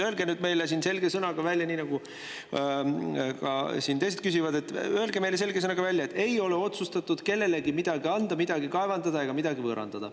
Öelge nüüd meile siin selge sõnaga välja – ka teised küsivad –, et ei ole otsustatud kellelegi midagi anda, midagi kaevandada ega midagi võõrandada.